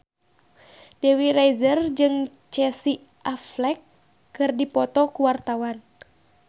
Dewi Rezer jeung Casey Affleck keur dipoto ku wartawan